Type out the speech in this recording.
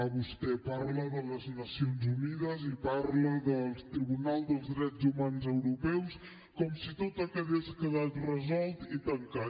vostè parla de les nacions unides i parla del tribunal dels drets humans europeu com si tot hagués quedat resolt i tancat